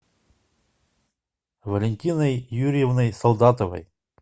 валентиной юрьевной солдатовой